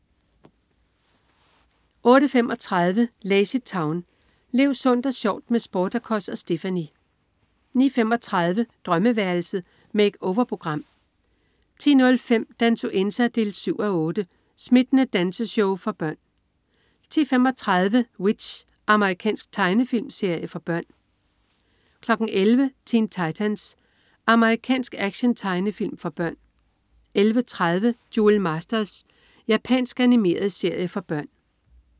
08.35 LazyTown. Lev sundt og sjovt med Sportacus og Stephanie! 09.35 Drømmeværelset. Make-over-program 10.05 Dansuenza 7:8. Smittende danseshow for børn 10.35 W.i.t.c.h. Amerikansk tegnefilmserie for børn 11.00 Teen Titans. Amerikansk actiontegnefilm for børn 11.30 Duel Masters. Japansk animeret serie for børn